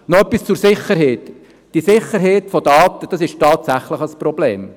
Noch etwas zur Sicherheit: Die Sicherheit der Daten ist tatsächlich ein Problem.